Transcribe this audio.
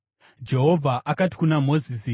Jehovha akati kuna Mozisi,